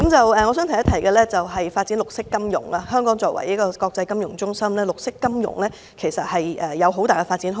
我還想提出的是發展綠色金融，香港作為國際金融中心，綠色金融有很大的發展空間。